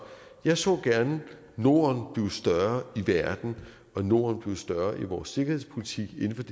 jeg så gerne norden blive større i verden og norden blive større i vores sikkerhedspolitik inden for